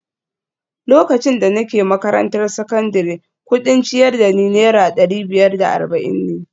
Lokacin da nake makarantar sakandare, kudin ciyar da ni Naira dari biyar da arba’in ne